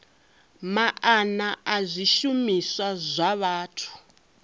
maana a zwishumiswa zwa vhathu